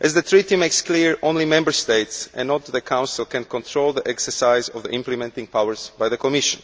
As the Treaty makes clear, only Member States and not the Council can control the exercise of the implementing powers by the Commission.